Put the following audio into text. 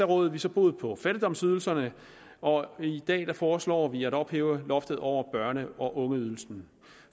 rådede vi så bod på fattigdomsydelserne og i dag foreslår vi at ophæve loftet over børne og ungeydelsen